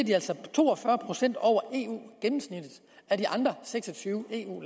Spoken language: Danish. to og fyrre procent over eu gennemsnittet af de andre seks og tyve eu